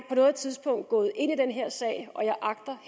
på noget tidspunkt gået ind i den her sag og jeg agter